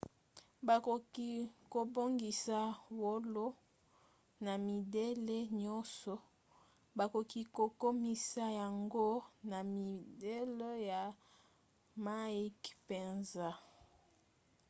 bakoki kobongisa wolo na midele nyonso. bakoki kokomisa yango na midele ya mike mpenza